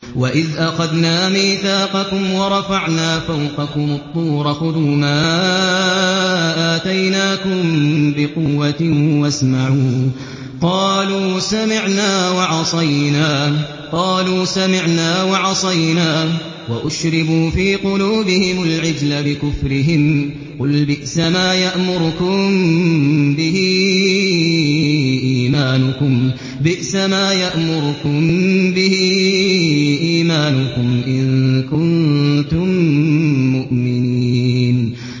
وَإِذْ أَخَذْنَا مِيثَاقَكُمْ وَرَفَعْنَا فَوْقَكُمُ الطُّورَ خُذُوا مَا آتَيْنَاكُم بِقُوَّةٍ وَاسْمَعُوا ۖ قَالُوا سَمِعْنَا وَعَصَيْنَا وَأُشْرِبُوا فِي قُلُوبِهِمُ الْعِجْلَ بِكُفْرِهِمْ ۚ قُلْ بِئْسَمَا يَأْمُرُكُم بِهِ إِيمَانُكُمْ إِن كُنتُم مُّؤْمِنِينَ